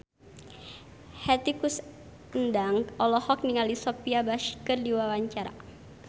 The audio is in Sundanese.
Hetty Koes Endang olohok ningali Sophia Bush keur diwawancara